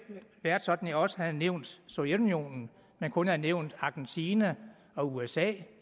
været sådan at jeg også havde nævnt sovjetunionen men kun havde nævnt argentina og usa